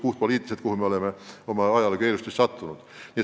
Kõigile on teada, kuhu me oleme ajaloo keeristes sattunud.